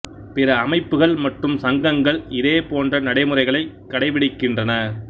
பிற அமைப்புக்கள் மற்றும் சங்கங்கள் இதே போன்ற நடைமுறைகளை கடைபிடிக்கின்றன